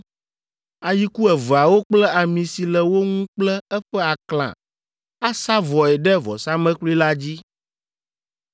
ayiku eveawo kple ami si le wo ŋu kple eƒe aklã asa vɔe ɖe vɔsamlekpui la dzi.